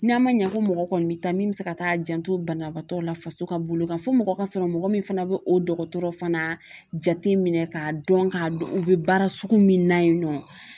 N'an man ɲa ko mɔgɔ kɔni bi taa min bɛ se ka taa janto banabaatɔw la faso ka bolo kan fɔ mɔgɔ ka sɔrɔ mɔgɔ min fana bɛ o dɔgɔtɔrɔ fana jate minɛ k'a dɔn k'a dɔn u bɛ baara sugu min na yen nɔ.